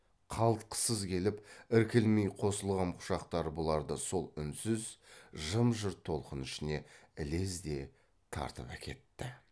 қалтқысыз келіп іркілмей қосылғам құшақтары бұларды сол үнсіз жым жырт толқын ішіне ілезде тартып әкетті